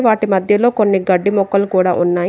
వాటి మధ్యలో కొన్ని గడ్డి మొక్కలు కూడా ఉన్నాయి.